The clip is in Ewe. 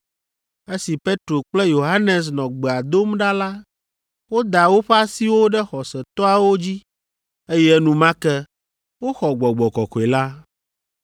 Esi Petro kple Yohanes nɔ gbea dom ɖa la, woda woƒe asiwo ɖe xɔsetɔawo dzi, eye enumake woxɔ Gbɔgbɔ Kɔkɔe la.